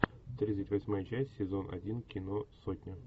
тридцать восьмая часть сезон один кино сотня